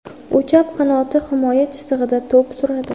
U chap qanot himoya chizig‘ida to‘p suradi.